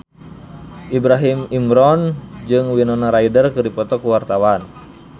Ibrahim Imran jeung Winona Ryder keur dipoto ku wartawan